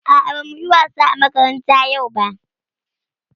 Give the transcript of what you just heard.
A'a, ba mu yi wasa a makaranta yau ba.